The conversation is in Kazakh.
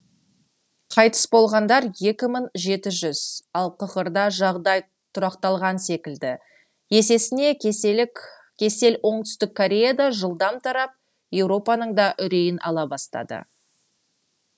қайтыс болғандар екі мың жеті жүз ал қхр да жағдай тұрақталған секілді есесіне кесел оңтүстік кореяда жылдам тарап еуропаның да үрейін ала бастады